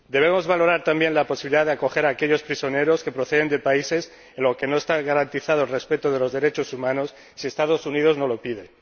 Debemos valorar también la posibilidad de acoger a aquellos prisioneros que proceden de países en los que no está garantizado el respeto de los derechos humanos si Estados Unidos nos lo pide.